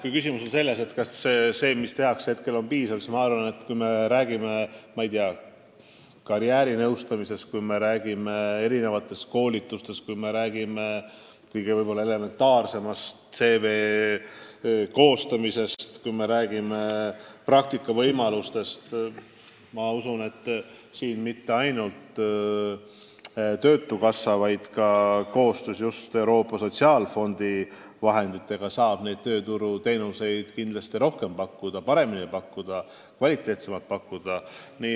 Kui küsimus on selles, kas praegu tehtavast piisab, siis kui me räägime, ma ei tea, karjäärinõustamisest, kui me räägime erinevatest koolitustest, kui me räägime kõige elementaarsemast ehk CV koostamisest, kui me räägime praktikavõimalustest, siis ma usun, et töötukassa saab Euroopa Sotsiaalfondi vahendeid kasutades neid teenuseid kindlasti rohkem ja paremini, kvaliteetsemalt pakkuda.